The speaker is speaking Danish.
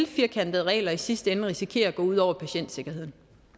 firkantede regler i sidste ende risikere at det går ud over patientsikkerheden